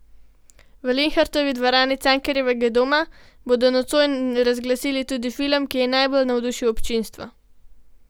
V Linhartovi dvorani Cankarjevega doma bodo nocoj razglasili tudi film, ki je najbolj navdušil občinstvo.